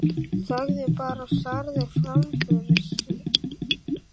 Þagði bara og starði fram fyrir sig.